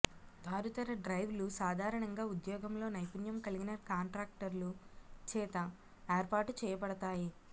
తారుతర డ్రైవ్లు సాధారణంగా ఉద్యోగంలో నైపుణ్యం కలిగిన కాంట్రాక్టర్లు చేత ఏర్పాటు చేయబడతాయి